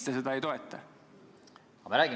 Lugupeetud ettekandja!